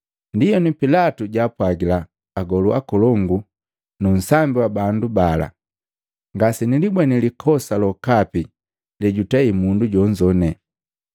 Ndienu Pilatu jaapwagila agolu akolongu nu nsambi wa bandu bala, “Ngase nilibweni likosa lokapi lejutei mundu jonzo.”